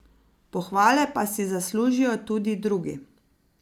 Pohvale pa si zaslužijo tudi drugi.